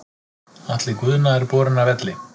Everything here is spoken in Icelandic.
Atli Guðna er borinn af velli.